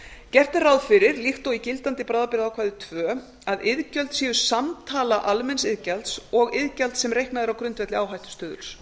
gert er ráð fyrir líkt og í gildandi bráðabirgðaákvæði tvö að iðgjöld séu samtala almenns iðgjalds og iðgjalds sem reiknað er á grundvelli áhættustuðuls